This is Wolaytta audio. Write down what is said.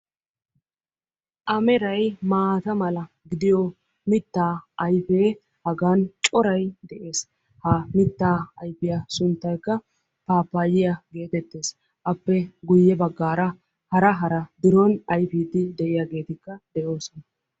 A meray maata mala gidiyoo mittaa ayfee hagan coray de'ees. hagaa mittaa ayfiyaa sunttaykka paappaaya geetettees. appe guye baggaara hara hara biron ayfiiddi de'iyagetikka de'oosona.